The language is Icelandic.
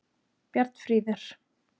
Bjarnfríður